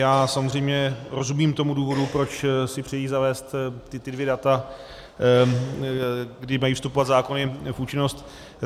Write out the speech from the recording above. Já samozřejmě rozumím tomu důvodu, proč si přejí zavést ta dvě data, kdy mají vstupovat zákony v účinnost.